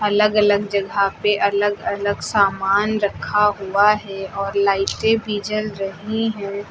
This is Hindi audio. अलग अलग जगह पे अलग अलग सामान रखा हुआ है और लाइटें भी जल रही हैं।